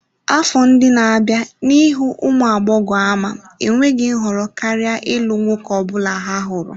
Afọ ndị na-abịa n'ihu ụmụ agbọghọ ama enweghị nhọrọ karịa ịlụ nwoke ọ bụla ha hụrụ.